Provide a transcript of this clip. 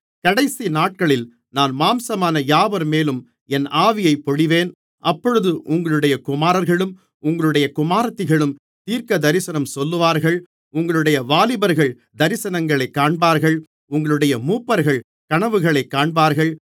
கடைசிநாட்களில் நான் மாம்சமான யாவர்மேலும் என் ஆவியைப் பொழிவேன் அப்பொழுது உங்களுடைய குமாரர்களும் உங்களுடைய குமாரத்திகளும் தீர்க்கதரிசனம் சொல்லுவார்கள் உங்களுடைய வாலிபர்கள் தரிசனங்களைக் காண்பார்கள் உங்களுடைய மூப்பர்கள் கனவுகளைக் காண்பார்கள்